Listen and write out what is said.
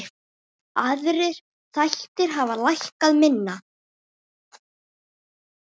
Aðrir þættir hafa lækkað minna.